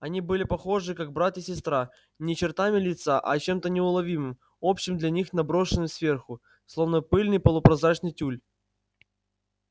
они были похожи как брат и сестра не чертами лица а чем-то неуловимым общим для них наброшенным сверху словно пыльный полупрозрачный тюль